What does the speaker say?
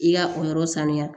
I ka o yɔrɔ sanuya